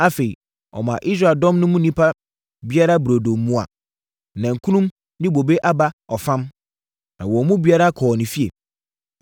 Afei, ɔmaa Israel dɔm no mu nnipa biara burodo mua, nankum ne bobe aba ɔfam. Na wɔn mu biara kɔɔ ne fie.